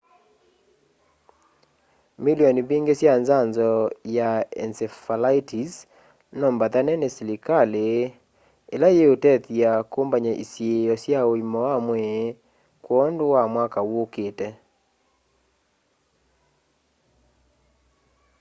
milioni mbingi sya nzanzo ya encephalitis no mbaathane ni selikali ila iutethya kumbanya isiio sya uima wa mwii kwondu wa mwaka uukiite